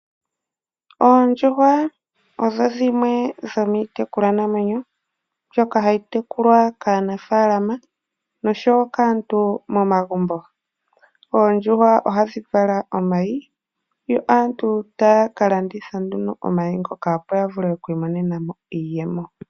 Oondjuhwa odho dhimwe dhomiitekulwanamwenyo mbyoka hayi tekulwa kaanafalama noshowo kaantu momagumbo. Oondjuhwa ohadhi vala omayi yo aantu taya ka landitha omayi ngoka opo ya vule okwiimonenamo iiyemo.